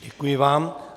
Děkuji vám.